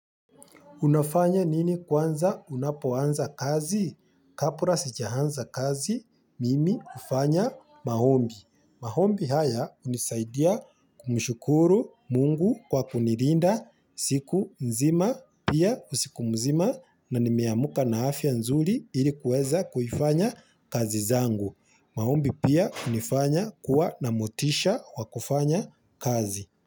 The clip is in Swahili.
Unafanya nini kwanza unapoanza kazi? Kapra sijahanza kazi mimi kufanya mahombi. Mahombi haya unisaidia kumushukuru mungu kwa kunirinda siku nzima pia usiku mzima na nimeamuka na hafiya nzuri ilikuweza kufanya kazi zangu. Mahombi pia unifanya kuwa na motisha wa kufanya kazi.